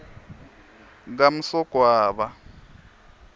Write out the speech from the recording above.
kamsogwaba